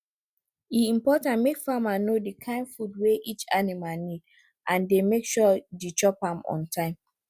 e important make farmer know the kind food wey each animal need and dey make sure the chop am on time